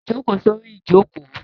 Jókòó sórí ìjókòó!